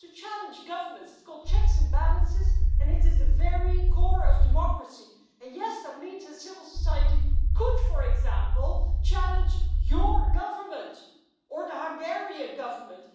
It is to challenge governments. It is called checks and balances, it is the very core of democracy and, yes, that means that civil society could, for example, challenge your government or the Hungarian Government.